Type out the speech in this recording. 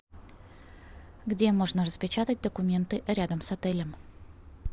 где можно распечатать документы рядом с отелем